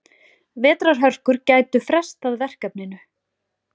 Vetrarhörkur gætu frestað verkefninu.